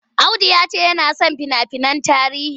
Audu ya ce yana son fina-finan tarihi.